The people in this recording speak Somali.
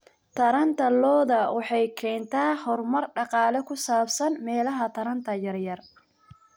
Taranta lo'da lo'da waxay keentay horumar dhaqaale oo ku saabsan meelaha taranta yar yar.